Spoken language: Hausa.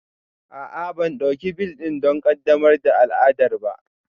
A'a, ban ɗauki bel don ƙaddamar da al'ada ba